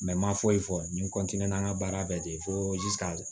n ma foyi fɔ n n ka baara bɛɛ de ye fo ka